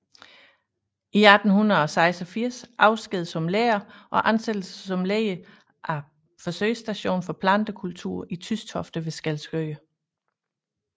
I 1886 afsked som lærer og ansættelse som leder af Forsøgsstation for Plantekultur i Tystofte ved Skælskør